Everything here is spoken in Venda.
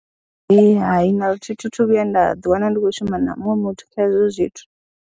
Hai, hai, na luthihi thi thu vhuya nda ḓiwana ndi khou shuma na muṅwe muthu kha hezwo zwithu.